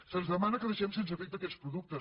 se’ns demana que deixem sense efecte aquests productes